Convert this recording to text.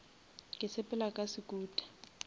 ke sepela ka sekuta